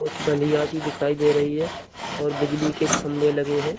कुछ बंधियां- सी दिखाई दे रही है और बिजली के खंभे लगे हैं।